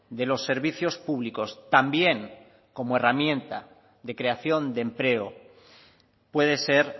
de los servicios públicos también como herramienta de creación de empleo puede ser